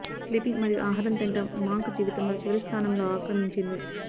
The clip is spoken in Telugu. స్లీపింగ్ మరియు ఆహార తినడం మాంక్ జీవితంలో చివరి స్థానంలో ఆక్రమించింది